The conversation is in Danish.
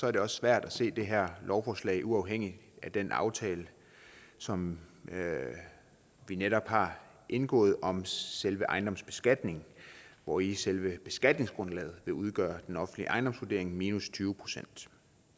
er det også svært at se det her lovforslag uafhængigt af den aftale som vi netop har indgået om selve ejendomsbeskatningen hvori selve beskatningsgrundlaget jo udgør den offentlige ejendomsvurdering minus tyve procent